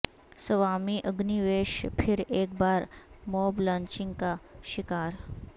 Swami Agnivesh پھر ایک بار موب لنچنگ کا شکار